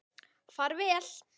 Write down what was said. Far vel!